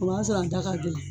O b'a sɔrɔ a da ka gɛlɛ